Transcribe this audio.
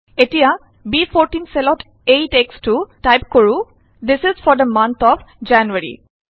এতিয়া ব14 চেলত এই টেক্সটো টাইপ কৰো this is for the month of January